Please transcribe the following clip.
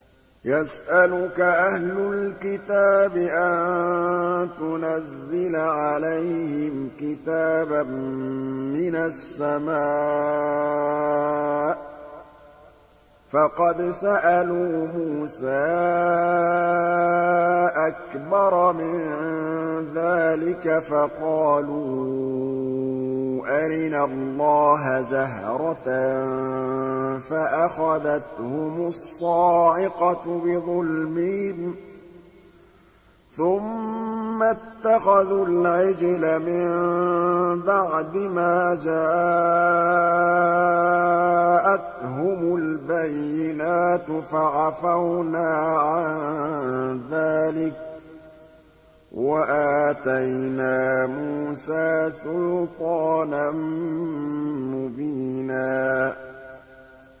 يَسْأَلُكَ أَهْلُ الْكِتَابِ أَن تُنَزِّلَ عَلَيْهِمْ كِتَابًا مِّنَ السَّمَاءِ ۚ فَقَدْ سَأَلُوا مُوسَىٰ أَكْبَرَ مِن ذَٰلِكَ فَقَالُوا أَرِنَا اللَّهَ جَهْرَةً فَأَخَذَتْهُمُ الصَّاعِقَةُ بِظُلْمِهِمْ ۚ ثُمَّ اتَّخَذُوا الْعِجْلَ مِن بَعْدِ مَا جَاءَتْهُمُ الْبَيِّنَاتُ فَعَفَوْنَا عَن ذَٰلِكَ ۚ وَآتَيْنَا مُوسَىٰ سُلْطَانًا مُّبِينًا